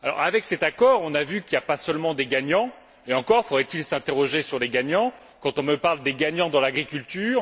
Avec cet accord, on a vu qu'il n'y a pas que des gagnants et encore faudrait il s'interroger sur les gagnants quand on me parle des gagnants dans l'agriculture.